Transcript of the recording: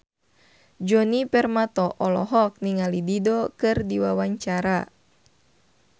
Djoni Permato olohok ningali Dido keur diwawancara